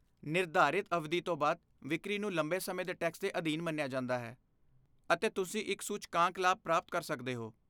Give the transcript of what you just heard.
ਨਿਰਧਾਰਿਤ ਅਵਧੀ ਤੋਂ ਬਾਅਦ ਵਿਕਰੀ ਨੂੰ ਲੰਬੇ ਸਮੇਂ ਦੇ ਟੈਕਸ ਦੇ ਅਧੀਨ ਮੰਨਿਆ ਜਾਂਦਾ ਹੈ ਅਤੇ ਤੁਸੀਂ ਇੱਕ ਸੂਚਕਾਂਕ ਲਾਭ ਪ੍ਰਾਪਤ ਕਰ ਸਕਦੇ ਹੋ।